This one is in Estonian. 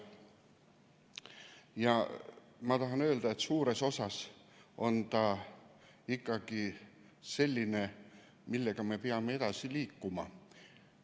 Ja ma tahan öelda, et suures osas on see temaatika ikkagi selline, millega me peame edasi liikuma.